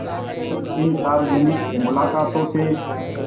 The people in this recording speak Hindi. इन सार्वजनिक मुलाक़ातों से